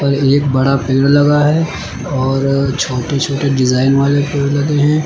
और एक बड़ा पेड़ लगा है और छोटे छोटे डिजाइन वाले पेड़ लगे हैं।